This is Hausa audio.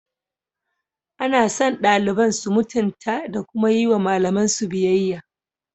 Ana son daliban su mutunta da kuma yi wa malamansu biyayya.